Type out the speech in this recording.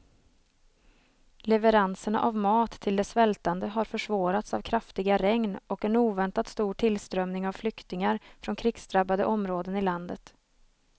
Leveranserna av mat till de svältande har försvårats av kraftiga regn och en oväntat stor tillströmning av flyktingar från krigsdrabbade områden i landet.